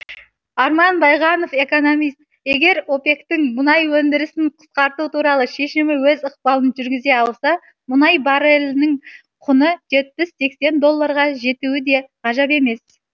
арман байғанов экономист егер опек тің мұнай өндірісін қысқарту туралы шемімі өз ықпалын жүргізе алса мұнай баррелінің құны жетпіс сексен долларға жетуі де ғажап емес